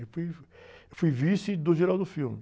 Eu fui... Eu fui vice do.